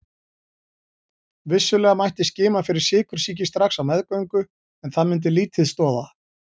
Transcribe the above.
Vissulega mætti skima fyrir sykursýki strax á meðgöngu en það myndi lítið stoða.